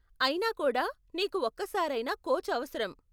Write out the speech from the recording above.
అయినా కూడా నీకు ఒక్కసారైనా కోచ్ అవసరం.